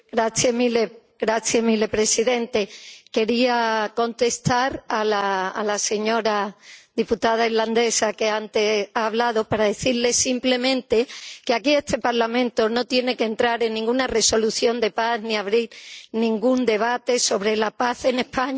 Señor presidente, quería contestar a la señora diputada irlandesa que ha hablado antes para decirle simplemente que, aquí, este Parlamento no tiene que entrar en ninguna resolución de paz ni abrir ningún debate sobre la paz en España.